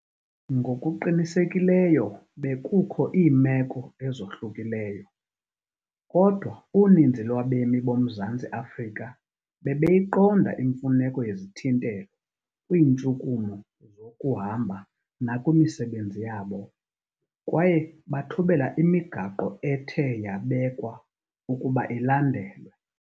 Ngokuqinisekileyo bekukho iimeko ezohlukileyo, kodwa uninzi lwabemi boMzantsi Afrika bebeyiqonda imfuneko yezithintelo kwiintshukumo zokuhamba nakwimisebenzi yabo, kwaye bathobela imigaqo ethe yabekwa ukuba ilandelwe.